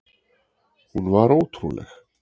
Hún var ótrúleg.